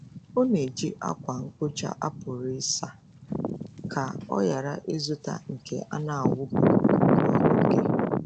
Ọ na-eji ákwà mkpocha a pụrụ ịsa ka ọ ghara ịzụta nke a na-awụpụ kwa oge.